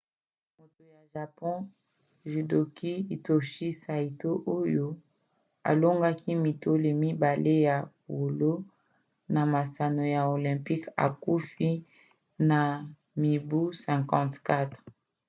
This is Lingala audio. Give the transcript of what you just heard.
moto ya japon judoka hitoshi saito oyo alongaki mitole mibale ya wolo na masano ya olympique akufi na mibu 54